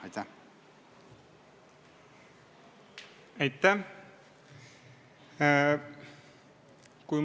Aitäh!